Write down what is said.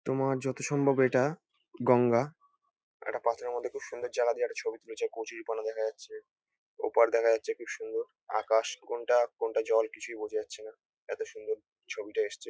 তোমার যতসম্ভব এটা গঙ্গা। একটা পাথরের মধ্যে খুব সুন্দর জায়গা দিয়ে একটা ছবি তুলেছে। কচুরিপানা দেখা যাচ্ছে। ওপার দেখা যাচ্ছে খুব সুন্দর। আকাশ কোনটা কোনটা জল কিছুই বোঝা যাচ্ছে না। এত সুন্দর ছবিটা এসছে।